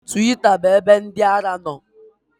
Twita bụ ebe ndị ara nọ